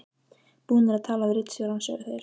Búnir að tala við ritstjórann, sögðu þeir.